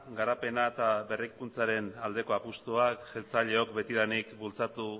garapena eta berrikuntzaren aldeko apustuak jeltzaleok betidanik bultzatu